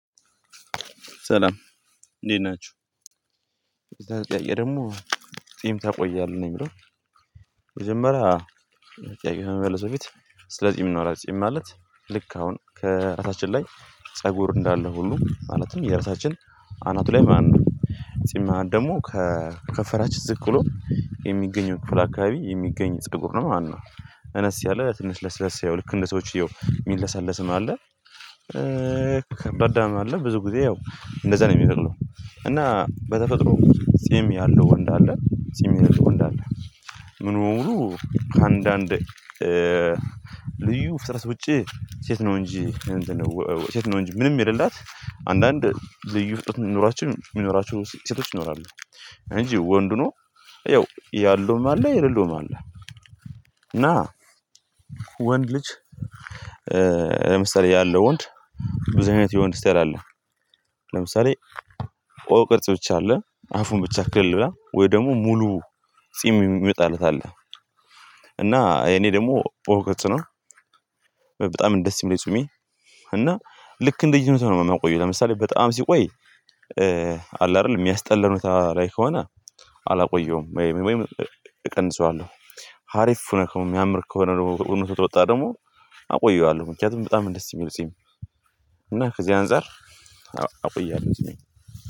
ሰላም፤ እንዴት ናችሁ፤ የዛሬው ጥያቄ ደግሞ "ጺም ታቆያለህ?" ነው የሚለው። መጀመሪያ ጥያቄውን ከመለስ በፊት ስለ ጺም እናውራ ጺም ማለት ልክ አሁን ከራሳችን ላይ ፀጉር እንዳለ ሁሉ ማለትም የራሳችን አናቱ ላይ ማለት ነው ጺም ማለት ደግሞ ከ ከንፈራችን ዝቅ ብሎ የሚገኘው ክፍል አካባቢ የሚገኝ ፀጉር ነው ማለት ነው። እነስ ያለ ትንሽ ለስለስ ያው ልክ እንደ ሰዎች ያው የሚለሳለስም አለ። ከባዳም አለ። ብዙ ጊዜ ያው እንደዛ ነው የሚበቅለው። እና በተፈጥሮ ጺም ያለው ወንድ አለ፤ ጺም የሌለው ወንድ አለ። ሙሉ በሙሉ ከአንዳንድ ልዩ ፍጥረት ውጪ ሴት ነው እንጂ እንትን ወወ ሴት ነው እንጂ ምንም የሌላት አንዳንድ ልዩ ፍጥረት የሚኖራቸው የሚኖራቸው ሴቶች ይኖራሉ። እንጂ ወንድ ሆኖ ያው ያለውም አለ የሌለውም አለ፤ እና ወንድ ልጅ ለምሳሌ ያለው ወንድ ብዙ አይነት የወንድ ስታይል አለ። ለምሳሌ ቆ ቅርጽ ብቻ አለ አፉን ብቻ ክልላ ወይ ደግሞ ሙሉ ጺም የሚወጣለት አለ። እና የኔ ደግሞ ኦ ቅርጽ ነው። በጣም ነው ደስ የሚል ጺሜ እና ልክ እንደየኑት ነው የማቆየው። ለምሳሌ በጣም ሲቆይ አለ አይደል የሚያስጠላ ሁኔታ ላይ ከሆነ አላቆየውም ወይም እቀንሰዋለሁ። ሀሪፍ ሆነ የሚያምር ከሆነ ደግሞ እውነት ወጣ ደግሞ አቆየዋለሁ ምክንያቱም በጣም ነው ደስ የሚል ጺም እና ከዚህ አንፃር አቆያለሁ ጺሜን